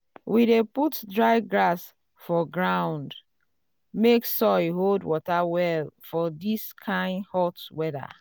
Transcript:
we dey put dry grass for ground (mulch) make soil hold water well for this kain hot weather.